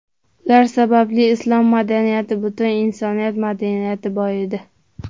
Ular sababli islom madaniyati, butun insoniyat madaniyati boyidi.